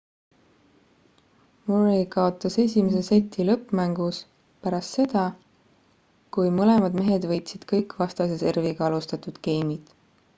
murray kaotas esimese seti lõppmängus pärast seda kui mõlemad mehed võitsid kõik vastase serviga alustatud geimid